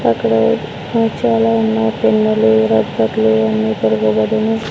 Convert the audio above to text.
అక్కడ మచ్చలా ఉన్నా పెన్నులు రబ్బర్లు అన్నీ తొడగబడును.